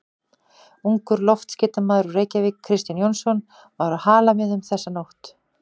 Ungur loftskeytamaður úr Reykjavík, Kristján Jónsson, var á Halamiðum þessa nótt á